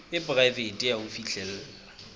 e poraefete ya ho fihlella